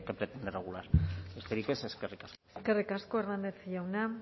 pretende regular besterik ez eskerrik asko eskerrik asko hernández jauna